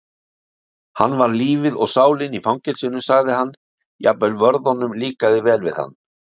Hann var lífið og sálin í fangelsinu sagði hann, jafnvel vörðunum líkaði vel við hann